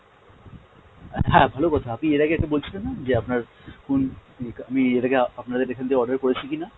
হ্যাঁ ভালো কথা আপনি এর আগে একটা বলছিলেন না যে আপনার কোন আমি এর আগে আপনাদের এখান থেকে order করেছি কিনা?